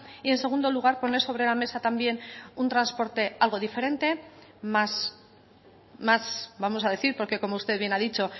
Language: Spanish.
y en segundo lugar poner sobre la mesa también un transporte algo diferentes más vamos a decir porque como usted bien ha dicho